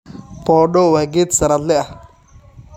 Podo waa geed sanadle ah.